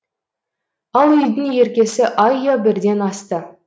ал үйдің еркесі айя бірден асты